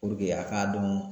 a k'a dɔn